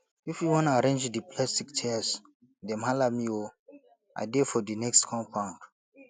if you wan arrange di plastic chairs dem hala me o i dey for di next compound